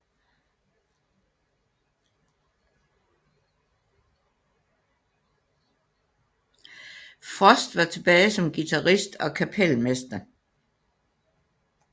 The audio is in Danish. Frost var tilbage som guitarist og kapelmester